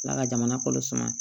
Ala ka jamana kɔnɔ suma